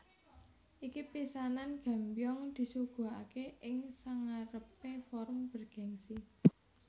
Iki pisanan Gambyong disuguhake ing sangarepe forum bergengsi